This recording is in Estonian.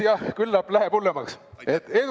Jah, küllap läheb hullemaks!